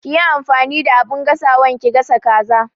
Kiyi amfani da abin gasawan ki gasa kaza